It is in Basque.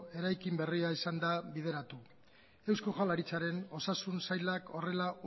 eraikin berria ezin da bideratu eusko jaurlaritzaren osasun sailak horrela